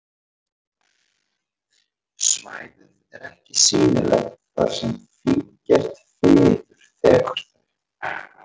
Svæðið er ekki sýnilegt þar sem fíngert fiður þekur þau.